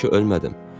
Mən ki ölmədim.